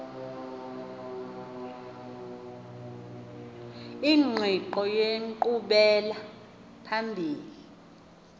ingqiqo yenkqubela phambili